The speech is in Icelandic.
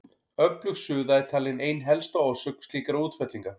Öflug suða er talin ein helsta orsök slíkra útfellinga.